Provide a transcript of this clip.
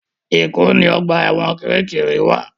Èkó ni ọgbà ẹ̀wọ̀n Kirikiri wa